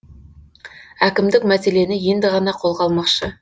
әкімдік мәселені енді ғана қолға алмақшы